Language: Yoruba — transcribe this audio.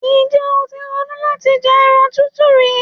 Ǹjẹ́́ o ti ronú láti jẹ ẹran tútù rí?